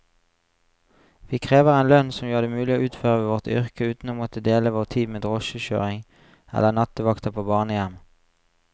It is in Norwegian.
Vi krever en lønn som gjør det mulig å utføre vårt yrke uten å måtte dele vår tid med drosjekjøring eller nattevakter på barnehjem.